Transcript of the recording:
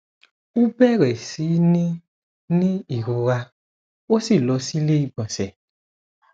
ó bẹrẹ sí ní ní ìrora ó sì lọ sí iléìgbọnsẹ